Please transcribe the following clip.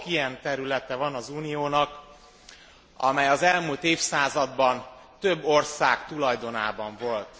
Sok ilyen területe van az Uniónak, amely az elmúlt évszázadban több ország tulajdonában volt.